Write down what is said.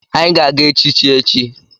Anyị ga-aga echichi echi.